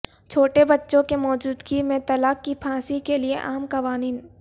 چھوٹے بچوں کی موجودگی میں طلاق کی پھانسی کے لئے عام قوانین